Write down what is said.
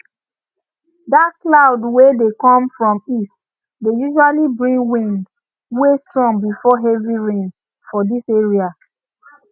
dark cloud wey dey come from east dey usually bring wind way strong before heavy rain for this area